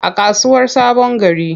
A kasuwar sabongari.